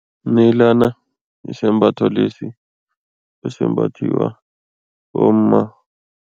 Umnayilana yisembatho lesi esimbathiwa bomma.